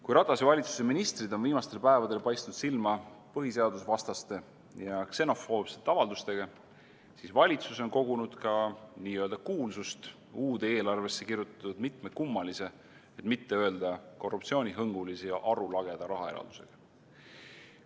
Kui Ratase valitsuse ministrid on viimastel päevadel paistnud silma põhiseadusvastaste ja ksenofoobsete avaldustega, siis valitsus on kogunud ka n-ö kuulsust uude eelarvesse kirjutatud mitme kummalise, et mitte öelda korruptsioonihõngulise ja arulageda rahaeraldusega.